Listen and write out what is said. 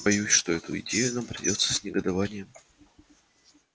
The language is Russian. боюсь что эту идею нам придётся с негодованием